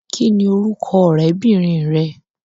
Kín ni orúkọ ọrẹbinrin rẹ.